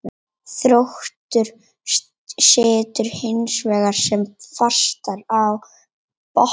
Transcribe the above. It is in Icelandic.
Þróttur situr hinsvegar sem fastast á botninum.